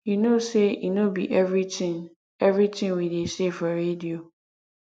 you know say e no be everything everything we dey say for radio